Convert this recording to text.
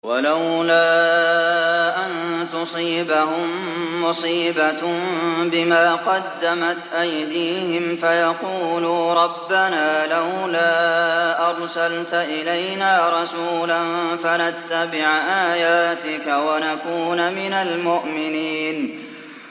وَلَوْلَا أَن تُصِيبَهُم مُّصِيبَةٌ بِمَا قَدَّمَتْ أَيْدِيهِمْ فَيَقُولُوا رَبَّنَا لَوْلَا أَرْسَلْتَ إِلَيْنَا رَسُولًا فَنَتَّبِعَ آيَاتِكَ وَنَكُونَ مِنَ الْمُؤْمِنِينَ